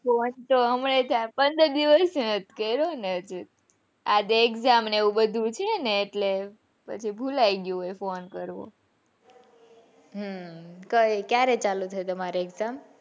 તો હમણાં પંદર દિવસ ગરે હોયને એટલે આજે Exam ને એવી બધું હોય ને એટલે પછી ભુલાઈ ગયું phone કરવો હમ ક્યારે ચાલુ થઇ તમારે exam?